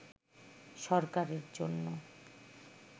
সরকারের জন্য